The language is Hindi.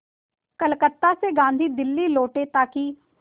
कलकत्ता से गांधी दिल्ली लौटे ताकि